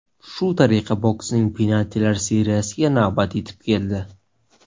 Shu tariqa boksning penaltilar seriyasiga navbat yetib keldi.